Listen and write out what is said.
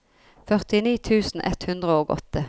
førtini tusen ett hundre og åtte